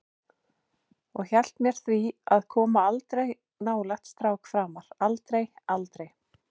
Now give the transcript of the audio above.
Og hét mér því að koma aldrei nálægt strák framar, aldrei, aldrei.